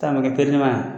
Taama kɛ